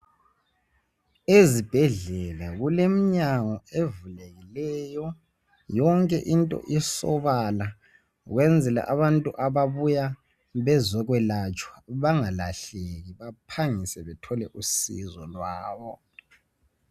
Ezibhedlela kulemnyango evulekileyo yonke into isobala ukwenzela abantu ababuya bezokwelatshwa bengalahleki baphangiswe bathole usizo lwabo.